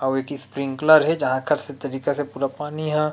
अउ एक स्प्रिंकलर हे जहाँ खर से तरीका से पूरा पानी ह।